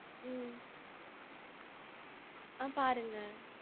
உம் ஆ பாருங்க.